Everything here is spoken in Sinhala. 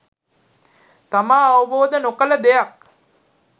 තමා අවබෝද නොකළ දෙයක්